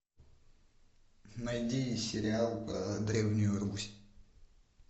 найди сериал про древнюю русь